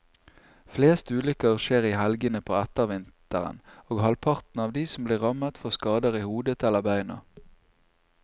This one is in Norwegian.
Flest ulykker skjer i helgene på ettervinteren, og halvparten av de som blir rammet får skader i hodet eller beina.